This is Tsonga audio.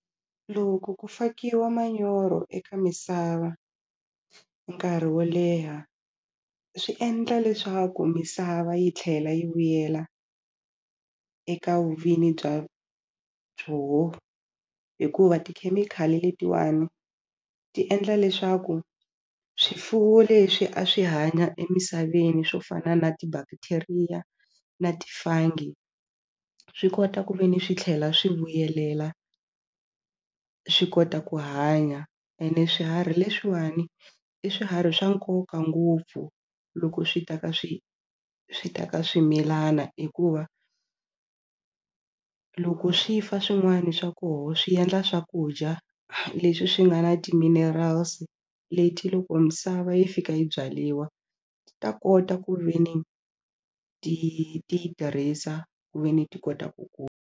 Loko ku fakiwa manyoro eka misava nkarhi wo leha swi endla leswaku misava yi tlhela yi vuyela eka vuvinyi bya byoho hikuva tikhemikhali letiwani ti endla leswaku swifuwo leswi a swi hanya emisaveni swo fana na ti-bacteria na ti-fungi swi kota ku ve ni swi tlhela swi vuyelela swi kota ku hanya ene swiharhi leswiwani i swiharhi swa nkoka ngopfu loko swi ta ka swi swi ta ka swimilana hikuva loko swi fa swin'wani swa koho swi endla swakudya leswi swi nga na ti-minerals leti loko misava yi fika yi byaliwa ti ta kota ku ve ni ti ti yi tirhisa ku ve ni ti kota ku .